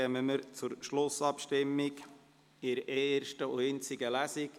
Dann kommen wir zur Schlussabstimmung im Rahmen dieser ersten und einzigen Lesung.